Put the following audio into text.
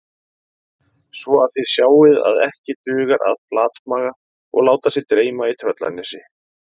Svo að þið sjáið að ekki dugar að flatmaga og láta sig dreyma í Tröllanesi